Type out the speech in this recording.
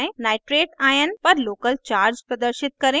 nitrate ion no